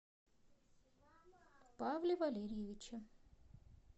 павле валерьевиче